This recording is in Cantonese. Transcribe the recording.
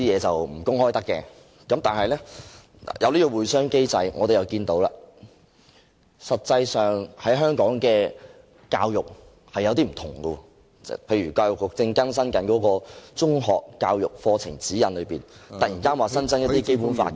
但是，我們看到，舉行了"會商機制會議"之後，香港的教育實際上出現了不同，例如教育局正更新《中學教育課程指引》，突然增加了一些《基本法》的......